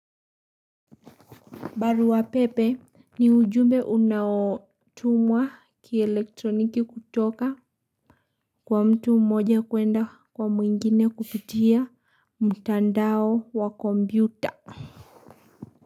Baruapepe, ni ujumbe unaotumwa, kielektroniki kutoka, kwa mtu mmoja kuenda kwa mwingine kupitia, mtandao wa kombyuta.